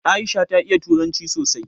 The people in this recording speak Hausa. Aisha ta iya turanci sosai